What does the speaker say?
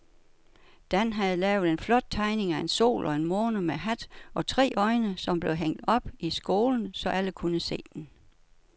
Dan havde lavet en flot tegning af en sol og en måne med hat og tre øjne, som blev hængt op i skolen, så alle kunne se den.